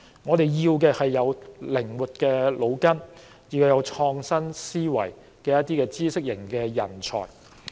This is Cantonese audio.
我們需要的是腦筋靈活、有創新思維的知識型人才。